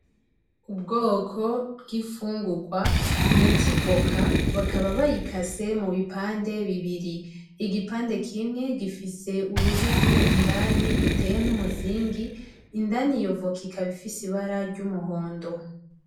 Ubwoko bw'imfungurwa bita ivoka bakaba bayikase mu bipande bibiri igipande kimwe gifise urubuto indani ruteye nk'umuzingi indani iyo voka ikaba ifise ibara ry'umuhondo.